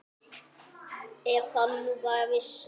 Ef hann nú bara vissi.